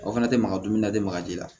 O fana tɛ maga dumuni na de magaji la